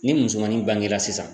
Ni musomanin bangera sisan